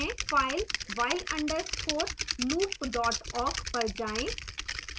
file while underscore loop dot awk पर जाएं